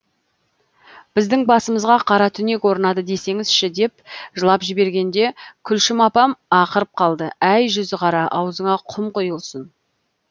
біздің басымызға қара түнек орнады десеңізші деп жылап жібергенде күлшім апам ақырып қалды әй жүзіқара аузыңа құм құйылсын